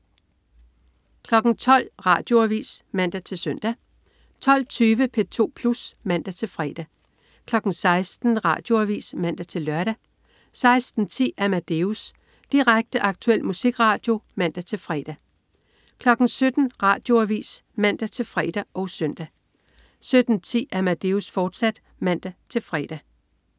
12.00 Radioavis (man-søn) 12.20 P2 Plus (man-fre) 16.00 Radioavis (man-lør) 16.10 Amadeus. Direkte, aktuel musikradio (man-fre) 17.00 Radioavis (man-fre og søn) 17.10 Amadeus, fortsat (man-fre)